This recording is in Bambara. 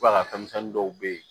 Ba denmisɛnnin dɔw bɛ yen